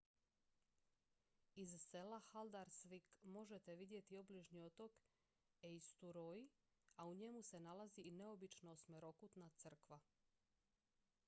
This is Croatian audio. iz sela haldarsvík možete vidjeti obližnji otok eysturoy a u njemu se nalazi i neobična osmerokutna crkva